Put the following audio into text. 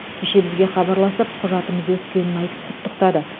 кеше бізге хабарласып құжатымыз өткенін айтып құттықтады